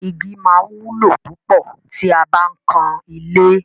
Igi máa wúlò púpọ̀ tí a bá ń kan ilé.